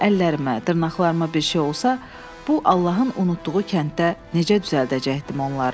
Əllərimə, dırnaqlarıma bir şey olsa, bu Allahın unutduğu kənddə necə düzəldəcəkdim onları?